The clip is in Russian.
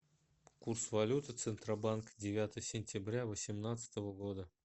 курс валюты центробанк девятое сентября восемнадцатого года